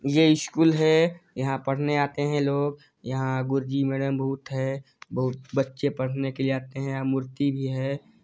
ये स्कूल है यहाँ पड़ने आते है लोग यहाँ गुरु जी मेडम बहुत है बहुत बच्चे पड़ने आते है यहाँ मूर्ति भी है।